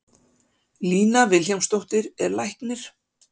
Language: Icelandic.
Lína Vilhjálmsdóttir er læknir.